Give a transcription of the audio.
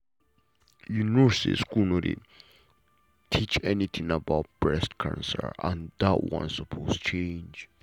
you know say school no dey teach anything about breast cancer and that one suppose to change.